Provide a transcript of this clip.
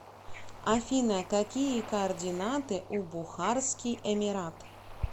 афина какие координаты у бухарский эмират